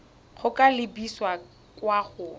go ka lebisa kwa go